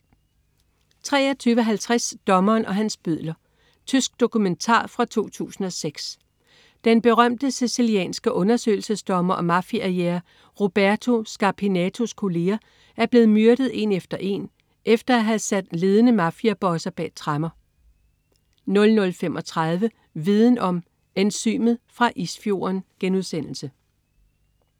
23.50 Dommeren og hans bødler. Tysk dokumentar fra 2006. Den berømte sicilianske undersøgelsesdommer og mafiajæger Roberto Scarpinatos kolleger er blevet myrdet en efter en efter at have sat ledende mafiabosser bag tremmer 00.35 Viden Om: Enzymet fra isfjorden*